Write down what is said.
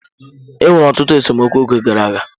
Enwere ọtụtụ esemokwu oge gara aga.